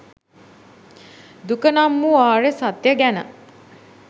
දුක නම් වූ ආර්ය සත්‍යය ගැන